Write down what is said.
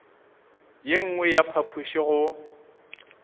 ye nngwe ya phapoši go